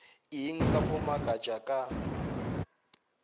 eng sa go makatša ka